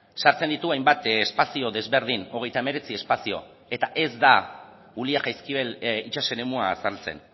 sartzen ditu hainbat espazio desberdin hogeita hemeretzi espazio eta ez da ulia jaizkibel itsas eremua azaltzen